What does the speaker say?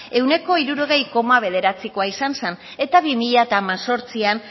ehuneko hirurogei koma bederatzikoa izan zen eta bi mila hemezortzian